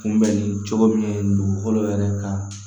Kunbɛnni cogo min ye nin dugukolo yɛrɛ ka